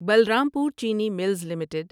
بلرام پور چینی mills limited